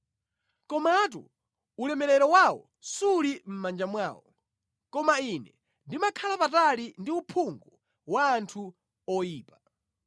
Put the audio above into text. Komatu ulemerero wawo suli mʼmanja mwawo, koma ine ndimakhala patali ndi uphungu wa anthu oyipa.